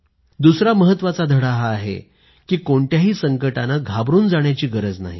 दुसरा महत्वाचा धडा हा आहे की कोणत्याही संकटानं घाबरून जाण्याची गरज नाही